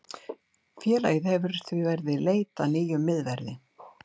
Félagið hefur því verið í í leit að nýjum miðverði.